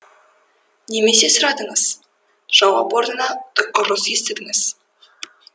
немесе сұрадыңыз жауап орнына ұрыс естідіңіз